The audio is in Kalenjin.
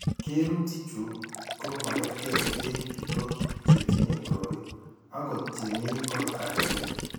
Kerutichu ko magerge eng' biko che tinye koroi akot che mi kot agenge.